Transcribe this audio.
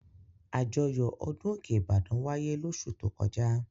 Àjọyọ̀ ọdún òkè Ìbàdàn wáyé lóṣù tó kọjá.